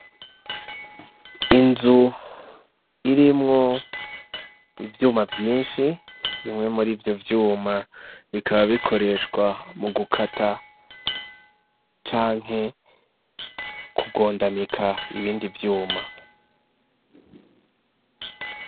Inzu irimwo ivyuma vyinshi bimwe muri ivyo vyuma bikaba bikoreshwa mu gukata canke kugondamika ibindi vyuma.